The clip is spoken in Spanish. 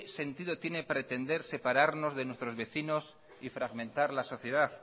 sentido tienen pretender separarnos de nuestros vecinos y fragmentar la sociedad